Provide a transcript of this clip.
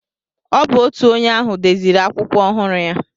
Ọ bụ otu onye ahụ deziri akwụkwọ ọhụrụ ya.